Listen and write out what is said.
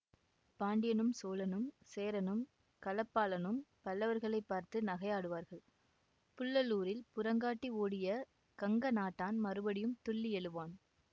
பாண்டியனும் சோழனும் சேரனும் களப்பாளனும் பல்லவர்களைப் பார்த்து நகையாடுவார்கள் புள்ளலூரில் புறங்காட்டி ஓடிய கங்க நாட்டான் மறுபடியும் துள்ளி எழுவான்